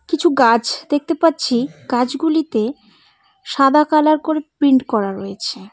কিছু গাছ দেখতে পাচ্ছি গাছগুলিতে সাদা কালার করে প্রিন্ট করা রয়েছে।